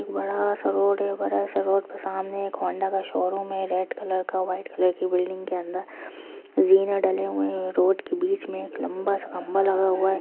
एक बड़ा-सा रोड है बड़ा-सा रोड के सामने होंडा का शोरूम है रेड कलर का व्हाइट कलर की बिल्डिंग के अंदर जीने डले हुए है रोड के बीच में एक लंबा सा खंभा है।